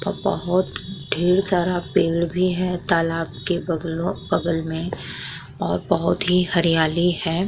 और बहोत ढेर सारा पेड़ भी हैं। तालाब के बगलो बगल में और बोहोत ही हरियाली हैं।